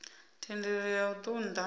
thendelo ya u ṱun ḓa